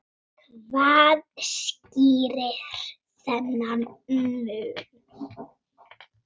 En hvað skýrir þennan mun?